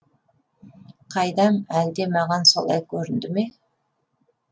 қайдам әлде маған солай көрінді ме